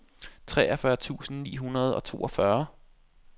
treogfyrre tusind ni hundrede og toogfyrre